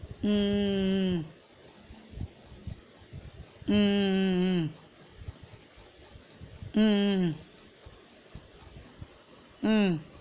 உம் உம் உம் உம் உம் உம் உம் உம் உம் உம் உம்